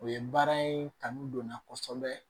O ye baara in kanu don n na kosɛbɛ